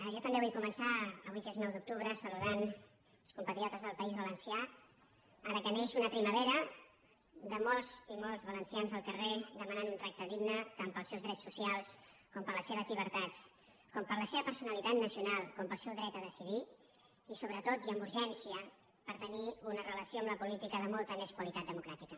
jo també vull començar avui que és nou d’octubre saludant els compatriotes del país valencià ara que neix una primavera de molts i molts valencians al carrer demanant un tracte digne tant per als seus drets socials com per a les seves llibertats com per a la seva personalitat nacional com per al seu dret a decidir i sobretot i amb urgència per tenir una relació amb la política de molta més qualitat democràtica